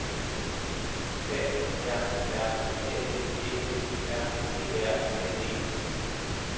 A R R A N G Ø R E R N E